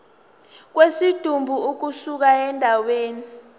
kwesidumbu ukusuka endaweni